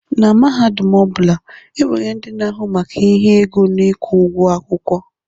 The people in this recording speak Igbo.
Na mahadum ọ bụla, e nwere ndị na-ahụ maka ihe ego na ịkwụ ụgwọ akwụkwọ.